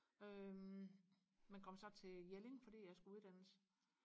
øhm men kom så til Jelling fordi jeg skulle uddannes